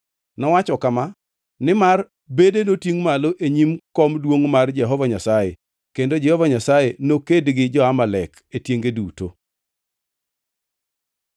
Nowacho kama, “Nimar bede notingʼ malo e nyim kom duongʼ mar Jehova Nyasaye. Kendo Jehova Nyasaye noked gi jo-Amalek e tienge duto.”